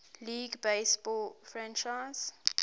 league baseball franchise